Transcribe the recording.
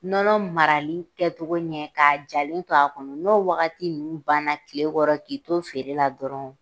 Nɔnɔ marali kɛcogo ɲɛ k'a jalen to a kɔnɔ n'o wagati ninnu banna tile kɔrɔ k'i to feere la dɔrɔnw